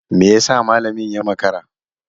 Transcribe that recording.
Me yasa malamin ya makara?